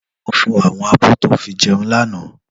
Lò fó áwòn ábò tó fi jèún làná